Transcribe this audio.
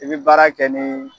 I bi baara kɛ nin